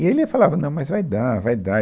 E ele falava, não, mas vai dar, vai dar.